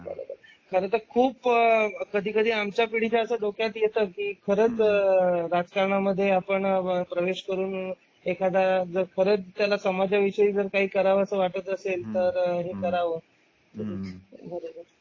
बरोबर खर तर खूप कधीकधी आमच्या पिढी च्या असं डोक्यात येतं की खरंच राजकारणामध्ये आपण प्रवेश करून एखादा खरंच समाजा विषयी जर काही करावं असं वाटत असेल तर हे कराव.